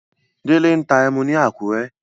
Délé ń ta ẹmu ni Àkúrẹ́.